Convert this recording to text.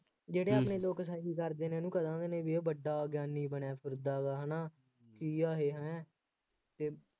ਜਿਹੜੇ ਆਪਣੇ ਲੋਕ ਠੱਗੀ ਕਰਦੇ ਨੇ, ਇਹਨੂੰ ਵੱਡਾ ਗਿਆਨੀ ਬਣਿਆ ਫਿਰਦਾ ਵਾ, ਹੈ ਨਾ, ਕੀ ਆ ਇਹ ਹੈਂੰ, ਅਤੇ